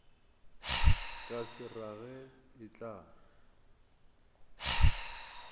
ka se rage e tla